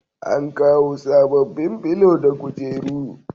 An kawo sabobbin filo na kujeru